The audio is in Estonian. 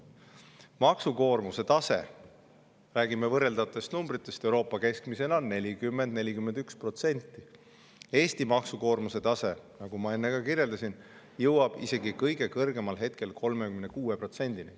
Euroopa keskmine maksukoormuse tase – räägime võrreldavatest numbritest – on 40–41%, Eesti maksukoormuse tase, nagu ma enne kirjeldasin, jõuab isegi kõige kõrgemal hetkel 36%‑ni.